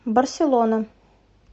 барселона